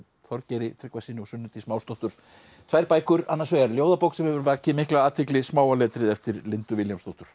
Þorgeiri Tryggvasyni og Sunnu Dís tvær bækur annars vegar ljóðabók sem hefur vakið mikla athygli smáa letrið eftir Lindu Vilhjálmsdóttur